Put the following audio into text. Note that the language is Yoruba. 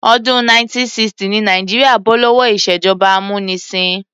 Ọdún 1960 ni Nàìjíríà bó lówó ìṣèjọba amúnisìn.